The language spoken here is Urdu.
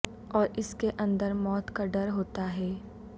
اور اس کے اندر موت کا ڈر ہوتا ہے